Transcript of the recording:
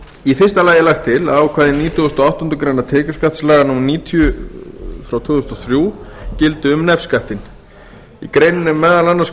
í fyrsta lagi er lagt til að ákvæði nítugasta og áttundu grein tekjuskattslaga númer níutíu tvö þúsund og þrjú gildi um nefskattinn í greininni er meðal annars